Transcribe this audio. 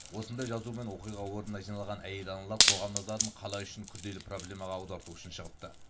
осындай жазумен оқиға орнына жиналған әйел аналар қоғам назарын қала үшін күрделі проблемаға аударту үшін шығыпты